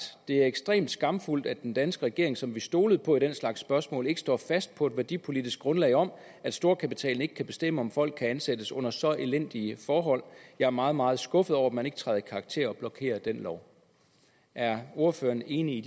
det er ekstremt skamfuldt at den danske regering som vi stolede på i den slags spørgsmål ikke står fast på et værdipolitisk grundlag om at storkapitalen ikke kan bestemme om folk kan ansættes under så elendige forhold jeg er meget meget skuffet over at man ikke træder i karakter og blokerer den lov er ordføreren enig